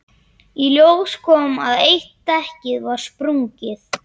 Í ljós kom að eitt dekkið var sprungið.